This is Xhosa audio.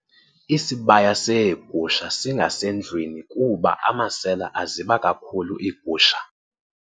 Isibaya seegusha singasendlwini kuba amasela aziba kakhulu igusha